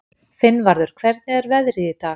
Finnvarður, hvernig er veðrið í dag?